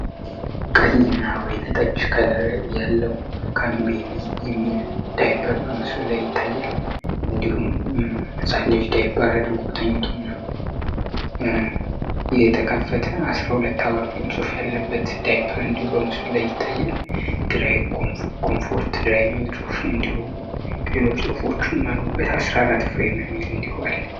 ቀሂ እና ወይነጠች ከለር ያለው ከቢቢ የሚል ዳይበር በምሱ ላይ ይታየል እንዲሁም መፃለጅ ዳይፐር አድርጎ ተኝቱና ህተከፈተ 1ራ 2 አዋር ሚል ጽፍ ያለበት ዳይፐር እንዲሁ በምሱ ላይ ይታየል ድራይክ ኮምፎርት ድራይሚል ጮፍ እንዲሁ ጤሎች ጽሑፎቹን ማሉበት 14ት ፍሬመ ሚል እንዲኋል፡፡